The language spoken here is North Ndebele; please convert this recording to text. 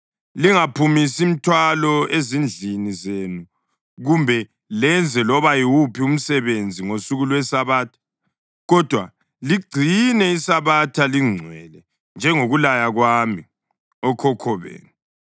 Lingaphumisi mthwalo ezindlini zenu kumbe lenze loba yiwuphi umsebenzi ngosuku lweSabatha, kodwa ligcine iSabatha lingcwele, njengokulaya kwami okhokho benu.